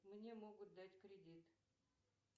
мне могут дать кредит